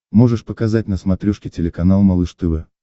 можешь показать на смотрешке телеканал малыш тв